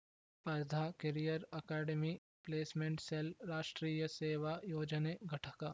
ಸ್ಪರ್ಧಾ career academy placement cell ರಾಷ್ಟ್ರೀಯ ಸೇವಾ ಯೋಜನೆ ಘಟಕ